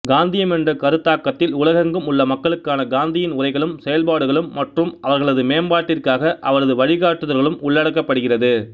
காந்தியம் என்ற கருத்தாக்கத்தில் உலகெங்கும் உள்ள மக்களுக்கான காந்தியின் உரைகளும் செயல்பாடுகளும் மற்றும் அவர்களது மேம்பாட்டிற்காக அவரது வழிகாட்டுதல்களும் உள்ளடக்கப்படுகிறது